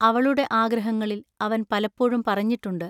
അവളുടെ ആഗ്രഹങ്ങളിൽ അവൻ പലപ്പോഴും പറഞ്ഞിട്ടുണ്ടു.